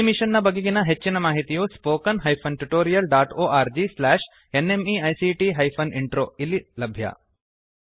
ಈ ಮಿಶನ್ ನ ಬಗೆಗಿನ ಹೆಚ್ಚಿನ ಮಾಹಿತಿಯು spoken hyphen tutorial dot org slash NMEICT hyphen intro ದಲ್ಲಿ ಲಭ್ಯ